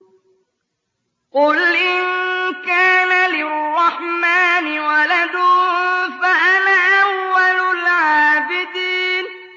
قُلْ إِن كَانَ لِلرَّحْمَٰنِ وَلَدٌ فَأَنَا أَوَّلُ الْعَابِدِينَ